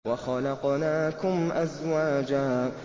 وَخَلَقْنَاكُمْ أَزْوَاجًا